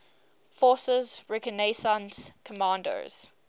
forces reconnaissance commandos